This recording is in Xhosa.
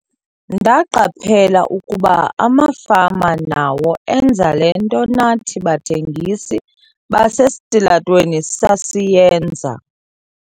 "Ndaqaphela ukuba amafama nawo enza le nto nathi bathengisi basesitalatweni sasiyenza."